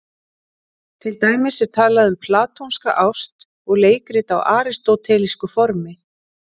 Til dæmis er talað um platónska ást og leikrit á aristótelísku formi.